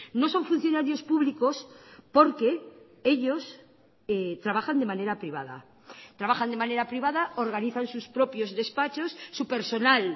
no son funcionarios públicos porque ellos trabajan de manera privada trabajan de manera privada organizan sus propios despachos su personal